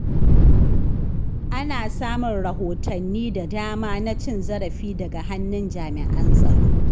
Ana samun rahotanni da dama na cin zarafi daga hannun jami’an tsaro.